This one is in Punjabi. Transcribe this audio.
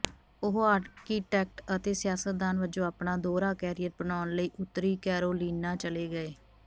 ਉਹ ਆਰਕੀਟੈਕਟ ਅਤੇ ਸਿਆਸਤਦਾਨ ਵਜੋਂ ਆਪਣਾ ਦੋਹਰਾ ਕੈਰੀਅਰ ਬਣਾਉਣ ਲਈ ਉੱਤਰੀ ਕੈਰੋਲੀਨਾ ਚਲੇ ਗਏ